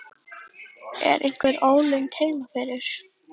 Er einhver ólund heima fyrir?